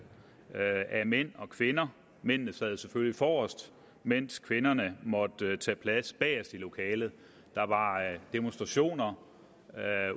mellem og kvinder mændene sad selvfølgelig forrest mens kvinderne måtte tage plads bagest i lokalet der var demonstrationer